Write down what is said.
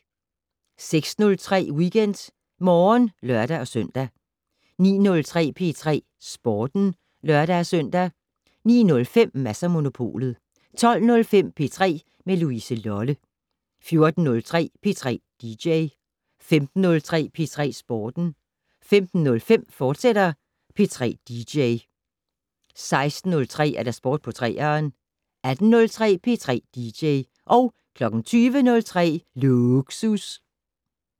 06:03: WeekendMorgen (lør-søn) 09:03: P3 Sporten (lør-søn) 09:05: Mads & Monopolet 12:05: P3 med Louise Lolle 14:03: P3 dj 15:03: P3 Sporten 15:05: P3 dj, fortsat 16:03: Sport på 3'eren 18:03: P3 dj 20:03: Lågsus